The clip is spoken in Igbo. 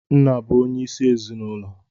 Nna bu onye isi ezinụlọ